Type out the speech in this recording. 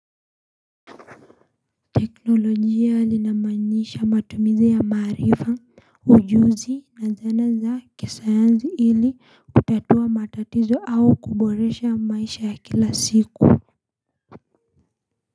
Teknolojia inamaanisha matumizi ya maaarifa, ujuzi na zana za kisayanzi ili kutatua matatizo au kuboresha maisha ya kila siku.